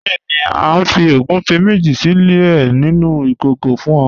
Bẹẹ̀ni, a fi ogúnfẹ méjì sílẹ̀ nínu ikókò fún ọ.